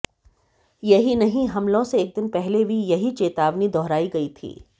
यही नहीं हमलों से एक दिन पहले भी यह चेतावनी दोहराई गई थी